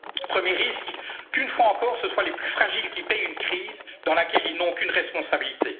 sociétés. Premier risque qu'une fois encore, ce soient les plus fragiles qui paient pour une crise dans laquelle ils n'ont aucune responsabilité.